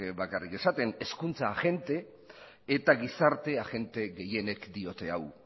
bakarrik esaten hezkuntza agente eta gizarte agente gehienek diote hau